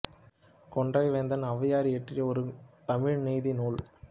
கொன்றை வேந்தன் ஔவையார் இயற்றிய ஒரு தமிழ் நீதி நூல்